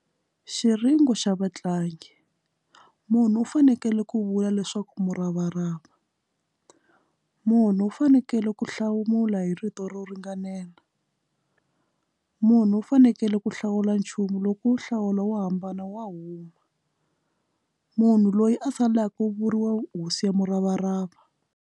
Xiringo xa vatlangi munhu u fanekele ku vula leswaku muravarava munhu u fanekele ku hlawula hi rito ro ringanela munhu u fanekele ku hlawula nchumu loko wu nhlawulo wo hambana wa huma munhu loyi a salaka ku vuriwe hosi ya muravarava.